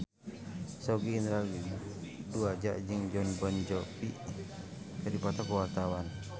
Sogi Indra Duaja jeung Jon Bon Jovi keur dipoto ku wartawan